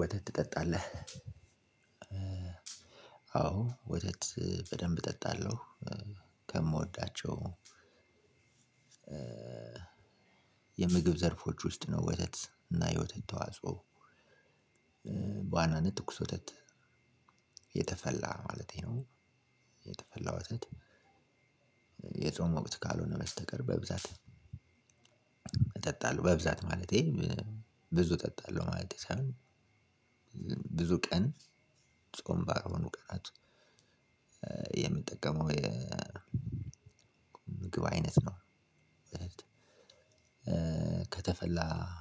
ወተት ትጠጣለህ? አዎ ወተት በደንብ እጠጣለሁ። ከምወዳቸው የምግብ ዘርፎች ውስጥ ነው ወተት እና የወተት ተዋጽኦ። በዋናነት ትኩስ ወተት የተፈላ ማለቴ ነው። የተፈላ ወተት የጾም ወቅት ካልሆነ በስተቀር በብዛት። እጠጣለሁ በብዛት ማለቴ ብዙ እጠጣለሁ ማለቴ ሳይሆን ብዙ ቀን ጾም ባልሆኑ ቀናት የምጠቀመው የምግብ አይነት ነው። ከተፈላ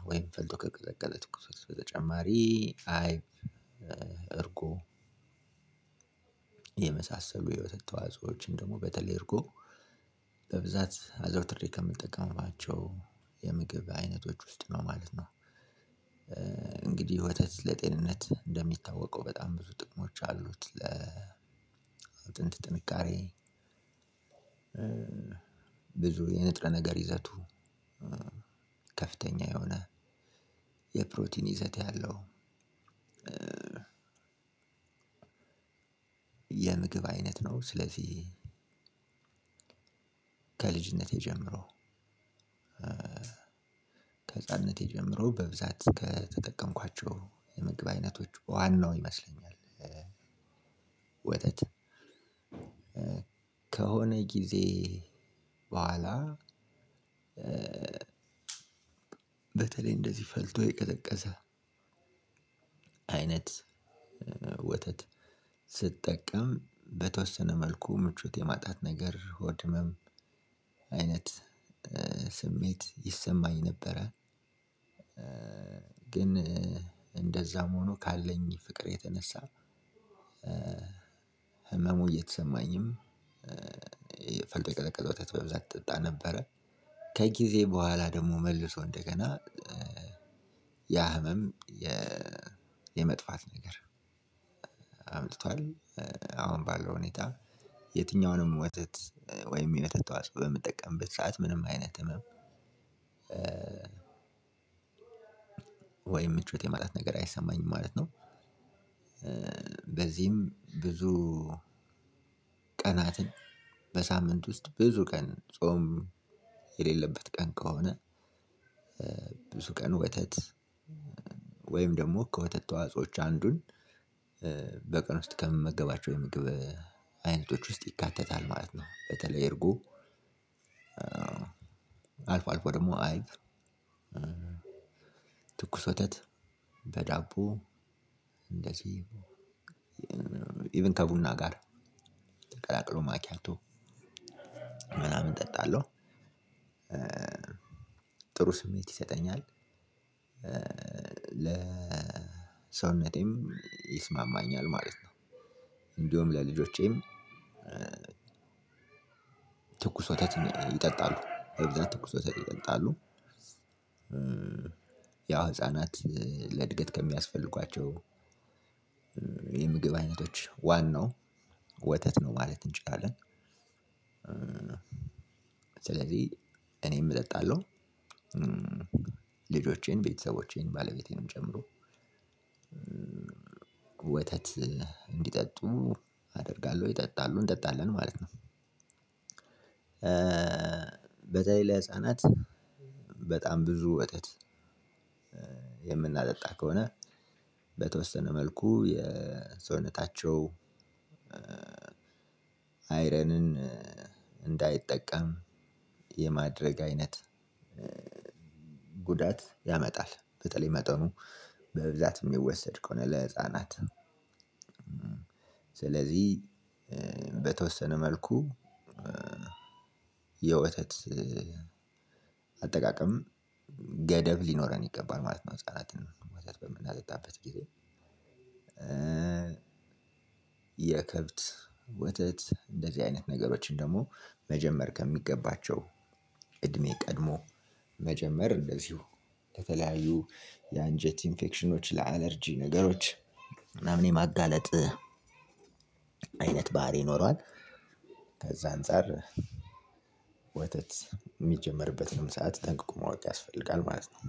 ወይም ፈልቶ ከቀዘቀዘ ትኩስ በተጨማሪ አይብ እርጎ የመሳሰሉ የወተት ተዋጾዎችን ደግሞ በተለይ እርጎ በብዛት አዘውትሬ ከምጠቀማቸው የምግብ አይነቶች ውስጥ ነው ማለት ነው። እንግዲህ ወተት ለጤንነት እንደሚታወቀው በጣም ብዙ ጥቅሞች አሉት ለአጥንት ጥንካሬ። ብዙ የንጥረ ነገር ይዘቱ ከፍተኛ የሆነ የፕሮቲን ይዘት ያለው የምግብ አይነት ነው። ስለዚህ ከልጅነቴ ጀምሮ ከህፃንነቴ ጀምሮ በብዛት ከተጠቀምኳቸው የምግብ አይነቶች ዋናው ይመስለኛል። ወተት ከሆነ ጊዜ በኋላ በተለይ እንደዚህ ፈልቶ የቀዘቀዘ አይነት ወተት ስጠቀም በተወሰነ መልኩ ምቾት የማጣት ነገር ሆድ ህመም አይነት ስሜት ይሰማኝ ነበረ። ግን እንደዛም ሆኖ ካለኝ ፍቅር የተነሳ ህመሙ እየተሰማኝም ፈልቶ የቀዘቀዘ ወተት በብዛት እጠጣ ነበረ ከጊዜ በኋላ ደግሞ መልሶ እንደገና ያ ህመም የመጥፋት ነገር አምጥቷል። አሁን ባለው ሁኔታ የትኛውንም ወተት ወይም የወተት ተዋጻኦ በምጠቀምበት ሰዓት ምንም አይነት ህመም ወይም ምቾት የማጣት ነገር አይሰማኝም ማለት ነው። በዚህም ብዙ ቀናትን በሳምንት ውስጥ ብዙ ቀን ጾም የሌለበት ቀን ከሆነ ብዙ ቀን ወተት ወይም ደግሞ ከወተት ተዋጾዎች አንዱን በቀን ውስጥ ከምመገባቸው የምግብ አይነቶች ውስጥ ይካተታል ማለት ነው። በተለይ እርጎ አልፎ አልፎ ደግሞ አይብ ትኩስ ወተት በዳቦ እንደዚህ ኢቭን ከቡና ጋር ቀላቅሎ ማክያቶ ምናምን እጠጣለው። ጥሩ ስሜት ይሰጠኛል ለሰውነቴም ይስማማኛል ማለት ነው። እንደውም ለልጆቼም ትኩስ ወተት ይጠጣሉ በብዛት ትኩሰ ወተት ይጠጣሉ። ያው ህፃናት ለእድገት ከሚያስፈልጓቸው የምግብ አይነቶች ዋናው ወተት ነው ማለት እንችላለን ስለዚህ እኔም እጠጣለሁ። ልጆቼም ቤተሰቦቼን ባለቤቴንም ጨምሮ ወተት እንዲጠጡ አደርጋለሁ ይጠጣሉ እንጠጣለን ማለት ነው። በተለይ ለህፃናት በጣም ብዙ ወተት የምናጠጣ ከሆነ በተወሰነ መልኩ የሰውነታቸው አይረንን እንዳይጠቀም የማድረግ አይነት ጉዳት ያመጣል። በተለይ መጠኑ በብዛት የሚወሰድ ከሆነ ለህፃናት። ስለዚህ በተወሰነ መልኩ የወተት አጠቃቀም ገደብ ሊኖረን ይገባል ማለት ነው። ህፃናትን ወተት በምናጠጣበት ጊዜ የከብት ወተት እንደዚህ አይነት ነገሮችን ደግሞ መጀመር ከሚገባቸው እድሜ ቀድሞ መጀመር እንደዚሁ በተለያዩ የአንጀት ኢንፌክሽኖች ለአለርጂ ነገሮች ምናምን የማጋለጥ አይነት ባህሪ ይኖረዋል። ከዛ አንፃር ወተት የሚጀመርበትንም ሰዓት ጠንቅቆ ማወቅ ያስፈልጋል ማለት ነው።